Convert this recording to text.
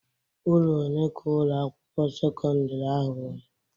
Ụlọ one ka Ụlọ akwụkwọ sekọndrị ahụ nwere?